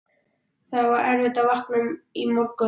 Það var erfitt að vakna í morgun.